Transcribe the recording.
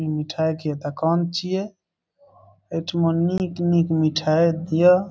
मिठाई के दुकान छिए। एठ में निक-निक मिठाई दिआ।